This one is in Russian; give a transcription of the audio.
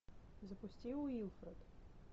запусти уилфред